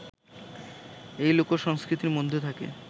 এই লোকসংস্কৃতির মধ্যে থাকে